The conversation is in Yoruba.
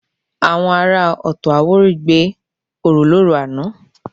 Àwọn ará Ọ̀tọ̀-Àwórì gbé orò lóru àná